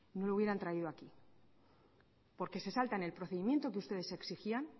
no lo hubieran traído aquí porque se saltan el procedimiento que ustedes exigían